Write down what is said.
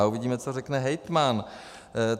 A uvidíme, co řekne hejtman.